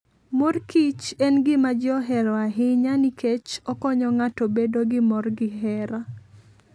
Mor kich en gima ji ohero ahinya nikech okonyo ng'ato bedo gi mor gi hera.